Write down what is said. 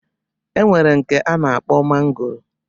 E nwere nke a na-akpọ mangoro